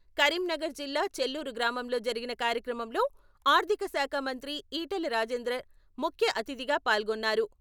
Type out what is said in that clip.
కరీంనగర్ జిల్లా చెల్లూరు గ్రామంలో జరిగిన కార్యక్రమంలో ఆర్థిక శాఖమంత్రి ఈటెల రాజేందర్ ముఖ్య అతిథిగా పాల్గొన్నారు.